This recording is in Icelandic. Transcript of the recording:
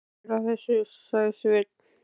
Hafðu ekki áhyggjur af þessu, sagði Sveinn.